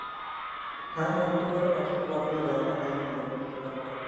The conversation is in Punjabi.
ਹਾਂ ਹਾਂ ਥੋੜਾ ਜਾ ਪਾਤਾ ਤਾ ਬਾਪੂ ਨੇ ਪਾਇਆ ਤਾ ਮੈਂ ਮੁ ਨੀ ਕੰਮ ਕਰਦਾ ਹੈਗਾ